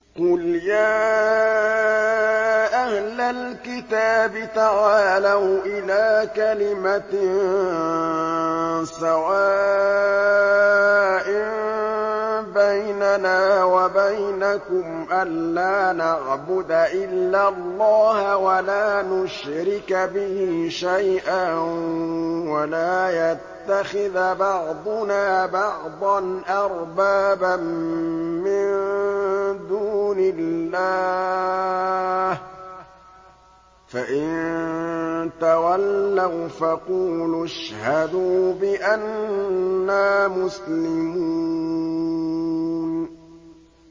قُلْ يَا أَهْلَ الْكِتَابِ تَعَالَوْا إِلَىٰ كَلِمَةٍ سَوَاءٍ بَيْنَنَا وَبَيْنَكُمْ أَلَّا نَعْبُدَ إِلَّا اللَّهَ وَلَا نُشْرِكَ بِهِ شَيْئًا وَلَا يَتَّخِذَ بَعْضُنَا بَعْضًا أَرْبَابًا مِّن دُونِ اللَّهِ ۚ فَإِن تَوَلَّوْا فَقُولُوا اشْهَدُوا بِأَنَّا مُسْلِمُونَ